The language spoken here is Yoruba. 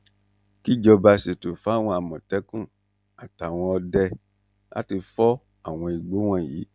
kíjọba sètò fáwọn àmọ̀tẹ́kùn àtàwọn ọdẹ láti fọ́ àwọn igbó wọ̀nyí